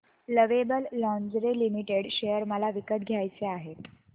lovable Lingerie Limited share मला विकत घ्यायचे आहेत